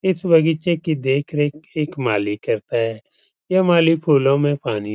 इस बगीचे की देख रेख एक माली करता है | यह माली फूलो में पानी --